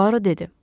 Puaro dedi.